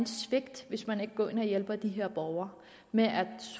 svigt hvis man ikke går ind og hjælper de her borgere med at